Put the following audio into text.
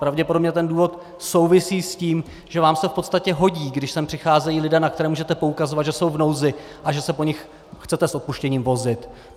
Pravděpodobně ten důvod souvisí s tím, že vám se v podstatě hodí, když sem přicházejí lidé, na které můžete poukazovat, že jsou v nouzi, a že se po nich chcete s odpuštěním vozit.